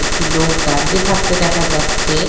একটি লোক দাঁড়িয়ে থাকতে দেখা যাচ্ছে-এ --